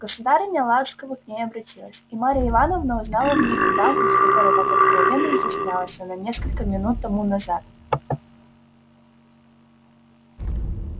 государыня ласково к ней обратилась и марья ивановна узнала в ней ту даму с которой так откровенно изъяснялась она несколько минут тому назад